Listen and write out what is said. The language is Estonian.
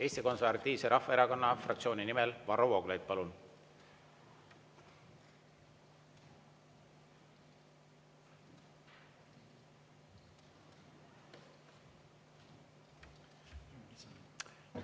Eesti Konservatiivse Rahvaerakonna fraktsiooni nimel Varro Vooglaid, palun!